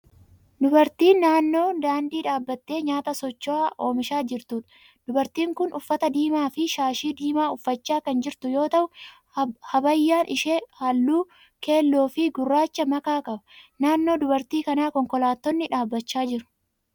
Dubartii naannoo daandii dhaabbattee nyaata socho'aa oomishaa jirtuudha. Dubartiin kun uffata diimaa fi shaashii diimaa uffachaa kan jirtu yoo ta'u habaayyaan ishee halluu keelloo fi gurraacha makaa qaba. Naannoo dubartii kanaa konkolaattonni dhaabbachaa jiru.